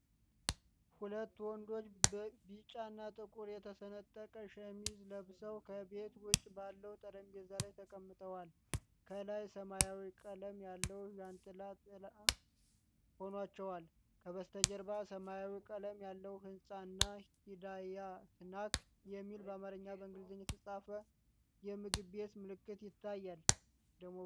ሁለት ወንዶች በቢጫና ጥቁር የተሰነጠቀ ሸሚዝ ለብሰው ከቤት ውጭ ባለ ጠረጴዛ ላይ ተቀምጠዋል። ከላይ ሰማያዊ ቀለም ያለው ዣንጥላ ጥላ ሆኗቸዋል። ከበስተጀርባ ሰማያዊ ቀለም ያለው ሕንፃ እና 'ሂዳያ ስናክ' የሚል በአማርኛና በእንግሊዝኛ የተጻፈ የምግብ ቤት ምልክት ይታያ